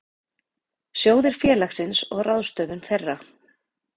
Sjóðir félagsins og ráðstöfun þeirra.